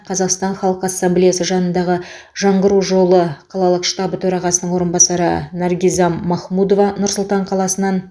қазақстан халқы ассамблеясы жанындағы жаңғыру жолы қалалық штабы төрағасының орынбасары наргизам махмудова нұр сұлтан қаласынан